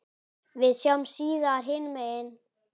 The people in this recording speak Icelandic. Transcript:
Við sjáumst síðar hinum megin.